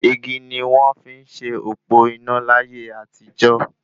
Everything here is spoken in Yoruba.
Igi ni wọ́n fi n se òpó iná láyé àtijó